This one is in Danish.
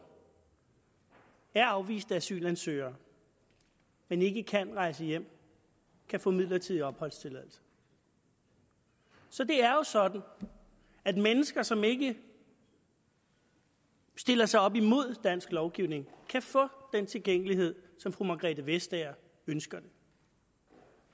er afviste asylansøgere men ikke kan rejse hjem kan få midlertidig opholdstilladelse så det er jo sådan at mennesker som ikke sætter sig op imod dansk lovgivning kan få den tilgængelighed som fru margrethe vestager ønsker